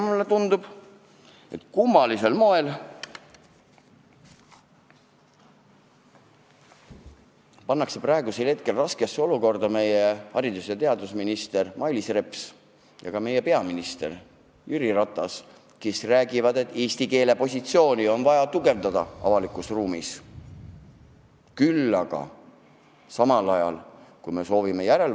Mulle tundub, et kummalisel moel me oleme raskesse olukorda pannud haridus- ja teadusminister Mailis Repsi ja ka peaminister Jüri Ratase, kes räägivad, et eesti keele positsiooni avalikus ruumis on vaja tugevdada.